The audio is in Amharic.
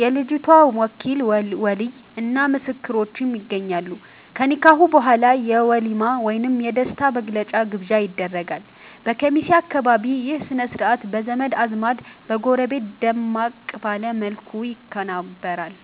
የልጅቷ ወኪል (ወሊይ) እና ምስክሮችም ይገኛሉ። ከኒካህ በኋላ የ"ወሊማ" ወይም የደስታ መግለጫ ግብዣ ይደረጋል። በኬሚሴ አካባቢ ይህ ሥነ-ሥርዓት በዘመድ አዝማድና በጎረቤት ደመቅ ባለ መልኩ ይከበራል።